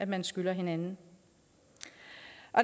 man skylder hinanden